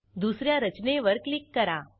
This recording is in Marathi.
दुस या रचनेवर क्लिक करा